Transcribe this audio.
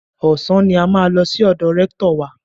Ọ̀sán ni a máa lọ sí ọ̀dọ̀ rẹ́ktọ̀ wa.